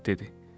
Padşah dedi: